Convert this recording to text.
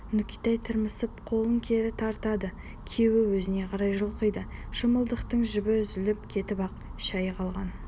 нүкетай тырмысып қолын кері тартады күйеу өзіне қарай жұлқиды шымылдықтың жібі үзіліп кетіп ақ шәйі қалқан